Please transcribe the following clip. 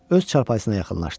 Öz çarpayısına yaxınlaşdı.